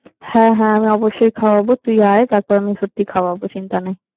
হ্যাঁ, হ্যাঁ আমি অবশ্যই খাওয়াবো, তুই যায় তারপর আমি সত্যি খাওয়াবো, চিন্তা নেই।